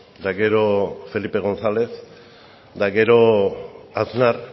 eta gero felipe gonzález eta gero aznar